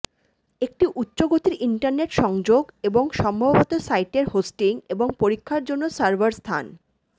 একটি উচ্চ গতির ইন্টারনেট সংযোগ এবং সম্ভবত সাইটের হোস্টিং এবং পরীক্ষার জন্য সার্ভার স্থান